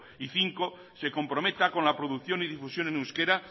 cinco se comprometa con la producción y difusión en euskara